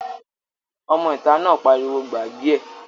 Ọmọ ìta náà pariwo "gbàgbé ẹ̀!"